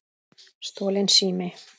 Stolinn sími